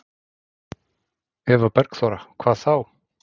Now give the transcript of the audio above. Eva Bergþóra: Hvað þá?